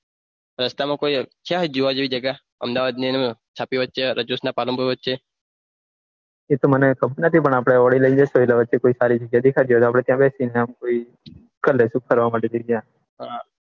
રસ્તા માં કઈ જોવા જેવી જગ્યા અમદાવાદની અંદર છાપી રજીસ ના પાલનપુર વચે એતો મને ખબર નથી પન આપડે ઓડી લીઈ ને જાસો રસ્તા માં કોઈ સારી જગ્યા દેખાડ્સો કર્દેસો ફરવા માટે જગ્યા